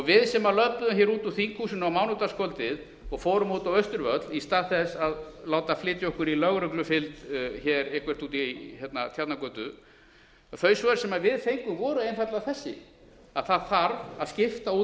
við sem löbbuðum hér út úr þinghúsinu a mánudagskvöldið og fórum út á austurvöll í stað þess að láta flytja okkur í lögreglufylgd hér eitthvert út í tjarnargötu þau svör sem við fengum voru einfaldlega þessi að það þarf að skipta út